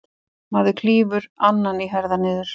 Maður klýfur annan í herðar niður.